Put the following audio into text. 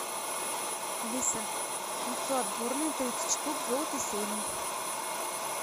алиса яйцо отборное тридцать штук золото сеймы